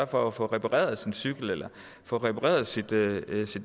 for at få repareret sin cykel eller få repareret sit